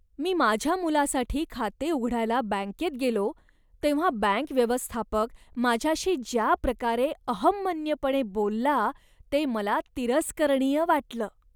मी माझ्या मुलासाठी खाते उघडायला बँकेत गेलो तेव्हा बँक व्यवस्थापक माझ्याशी ज्याप्रकारे अहंमन्यपणे बोलला ते मला तिरस्करणीय वाटलं.